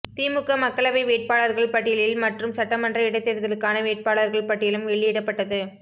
திமுக மக்களவை வேட்பாளர்கள் பட்டியலில் மற்றும் சட்டமன்ற இடைத் தேர்தலுக்கான வேட்பாளர்கள் பட்டியலும் வெளியிடப்பட்டது